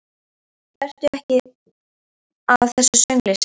Vertu ekki að þessu söngli, segir hún.